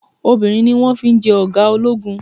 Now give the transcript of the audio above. Obìnrin ni wọn fi jẹ́ ọ̀gá ológun.